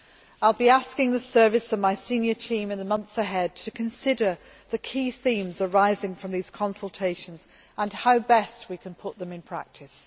I will be asking the service and my senior team in the months ahead to consider the key themes arising from these consultations and how best we can put them into practice.